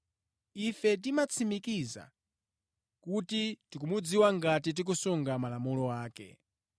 Ife timatsimikiza kuti tikumudziwa ngati tikusunga malamulo ake.